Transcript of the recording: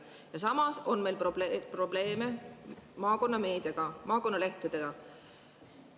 Ja samas on meil probleeme maakonnameediaga, maakonnalehtedega.